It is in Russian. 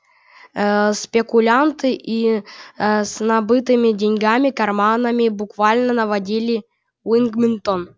спекулянты с набитыми деньгами карманами буквально наводнили уилмингтон они скупали все грузы с кораблей и припрятывали их чтобы взвинтить цены